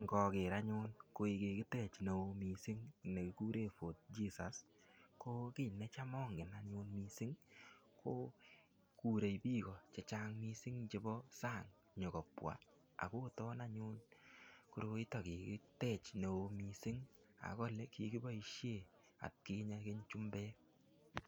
Ngoker anyun koi kigitech mising ne kikuren Fort Jesus, ko kiy necham ongen anyun miisng ko kure bii any chechang mising chebo sang nyokobwa ago tong'ony anyun koroito kigitech neo mising ak ole kigiboisie atkinye olikinye chumbek